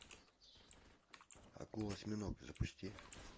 акула осьминог запусти